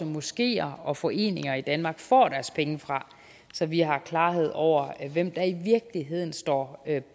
moskeer og foreninger i danmark får deres penge fra så vi har klarhed over hvem der i virkeligheden står